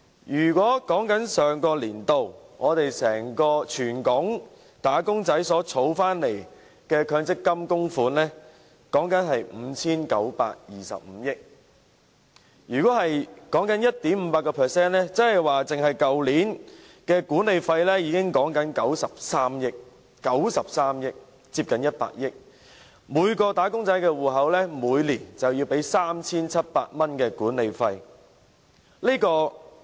以上年度為例，全港"打工仔"的強積金供款額是 5,925 億元，如果以 1.58% 計算，單是去年的管理費已是93億元，接近100億元，即每名"打工仔"的強積金戶口每年便要支付 3,700 元管理費。